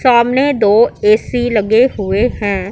सामने दो ए_सी लगे हुए हैं।